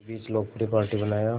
के बीच लोकप्रिय पार्टी बनाया